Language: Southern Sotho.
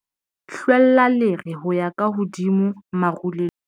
hlwella lere ho ya ka hodimo marulelong